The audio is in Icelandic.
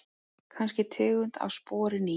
Kannski tegund af spori ný.